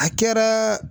A kɛra